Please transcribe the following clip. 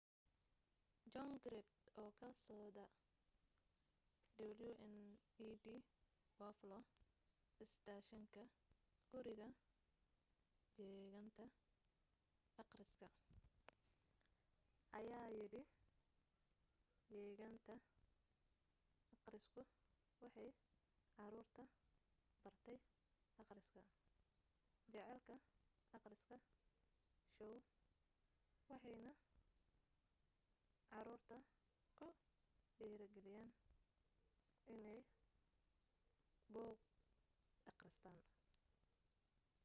john grant oo ka soda wned buffalo isteeshinka guriga jeegaanta akhriska ayaa yidhi jeegaanta akhrisku waxay caruurta bartay akhriska,... jacaylka akhriska — [shoow] waxaanay caruurta ku dhiirigeliyeen inay buug akhristaan